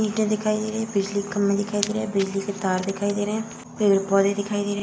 इटें दिखाई दे रही हैं। बिजली के खम्भे दिखाई दे रहे हैं। बिजली के तार दिखाई दे रहे हैं। पेड़-पोधे दिखाई दे रहे --